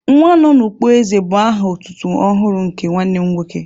"Nwanọnụkpó èzè" bu aha otutu ọhụrụ nke nwanne m nwoke